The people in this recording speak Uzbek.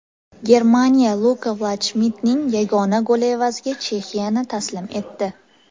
Germaniya Luka Valdshmidtning yagona goli evaziga Chexiyani taslim etdi.